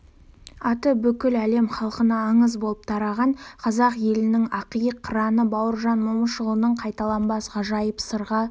аты бүкіл әлем халқына аңыз боп тараған қазақ елінің ақиық қыраны бауыржан момышұлының қайталанбас ғажайып сырға